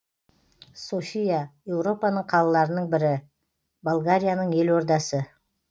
софия еуропаның қалаларының бірі болгарияның елордасы